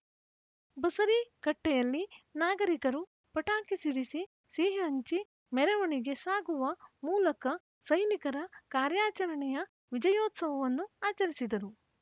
ಬಸರೀಕಟ್ಟೆಯಲ್ಲಿ ನಾಗರಿಕರು ಪಟಾಕಿ ಸಿಡಿಸಿ ಸಿಹಿ ಹಂಚಿ ಮೆರವಣಿಗೆ ಸಾಗುವ ಮೂಲಕ ಸೈನಿಕರ ಕಾರ್ಯಾಚರಣೆಯ ವಿಜಯೋತ್ಸವವನ್ನು ಆಚರಿಸಿದರು